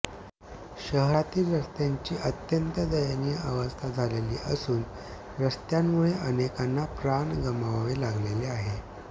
शहरातील रस्त्याची अत्यंत दयनीय अवस्था झालेली असून रस्त्यामुळे अनेकांना प्राण गमवावे लागलेले आहे